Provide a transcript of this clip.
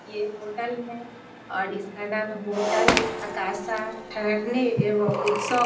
ये होटल है और इसका नाम है होटल अकाशा ठहरने एवं उत्सव --